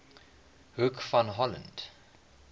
hoek van holland